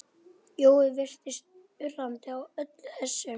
Jói virtist undrandi á öllu þessu.